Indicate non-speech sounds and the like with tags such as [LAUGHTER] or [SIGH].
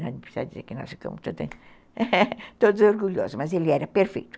Não precisa dizer que nós ficamos todos [LAUGHS] orgulhosos, mas ele era perfeito.